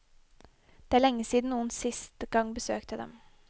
Det er lenge siden noen siste gang besøkte dem.